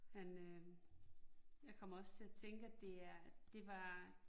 Men øh jeg kommer også til at tænke, at det er det var